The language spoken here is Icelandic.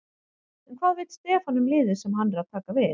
En hvað veit Stefán um liðið sem hann er að taka við?